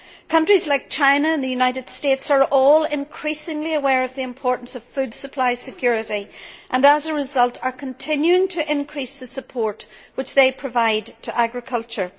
Countries like China and the United States are all increasingly aware of the importance of food supply security and, as a result, are continuing to increase the support which they provide to agriculture.